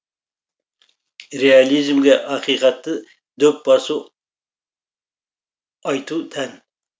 реализмге ақиқатты дөп басу айту тән